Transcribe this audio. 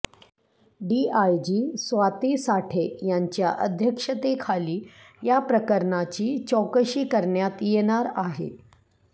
DIG Swati Sathe यांच्या अध्यक्षतेखाली याप्रकरणाची चौकशी करण्यात येणार आहे